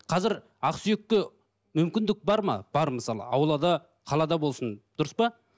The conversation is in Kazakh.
қазір ақсүйекке мүмкіндік бар ма бар мысалы аулада қалада болсын дұрыс па